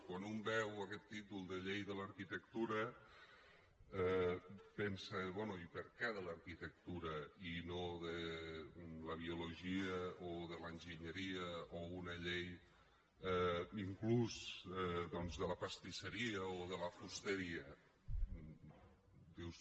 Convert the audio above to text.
quan un veu aquest títol de llei de l’arquitectura pensa bé i per què de l’arquitectura i no de la biologia o de l’enginyeria o una llei inclús doncs de la pastisseria o de la fusteria dius